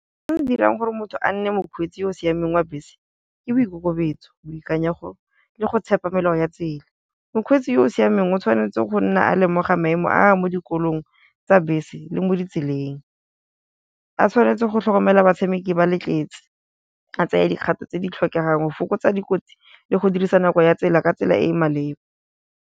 Se dirang gore motho a nne mokgweetsi yo o siameng wa bese ke boikokobetso, boikanyego le go tshepa melao ya tsela. Mokgweetsi yo o siameng o tshwanetse go nna a lemoga maemo a mo dikolong tsa bese le mo ditseleng, a tshwanetse go tlhokomela batshameki ba le tletse, a tsaye dikgato tse di tlhokegang go fokotsa dikotsi le go dirisa nako ya tsela ka tsela e e maleba.